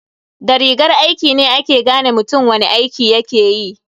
Da rigar aiki ne ake gane mutum wani aiki yakeyi.